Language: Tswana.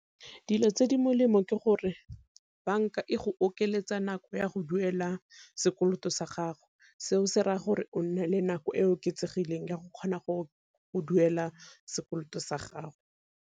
Dilo tse di molemo ke gore banka e go okeletsa nako ya go duela sekoloto sa gago, seo se raya gore o nne le nako e oketsegileng ya go kgona go duela sekoloto sa gago.